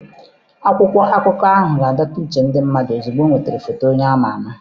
Akwụkwọ akụkọ ahụ ga-adọta uche ndị mmadụ ozugbo ọ nwere foto onye ama ama.